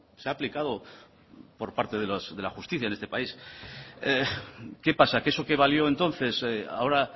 se ha aplicado por parte de la justicia en este país qué pasa que eso que valió entonces ahora